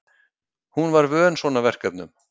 Hún var vön svona verkefnum.